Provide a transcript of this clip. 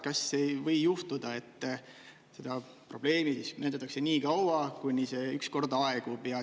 Kas ei või juhtuda, et seda probleemi näidatakse niikaua, kuni see ükskord aegub?